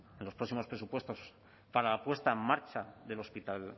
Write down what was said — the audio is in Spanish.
los próximos presupuestos para la puesta en marcha